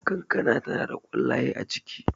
kankana tana da kwallaye a ciki